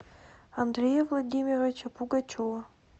андрея владимировича пугачева